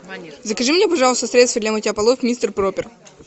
закажи мне пожалуйста средство для мытья полов мистер пропер